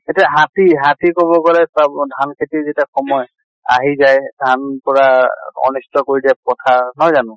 এতিয়া হাতি, হাতি কʼব গলে ধান খেতিৰ যেতিয়া সময়, আহি যায় ধান পুৰা অনিষ্ট কৰি দিয়ে পথাৰ নহয় জানো?